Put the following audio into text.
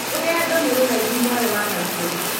rũgendo nĩ rũraihu mwarĩ wa maitũ